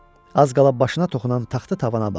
Az qala başına toxunan taxta tavana baxdı.